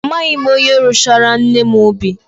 Amaghị m onye rụchaara nne m ubi.